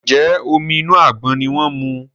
Njé Omi inú àgbọn ní wón mu?